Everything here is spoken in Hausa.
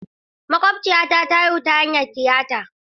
Makwabciyata ta haihu ta hanyar tiyata.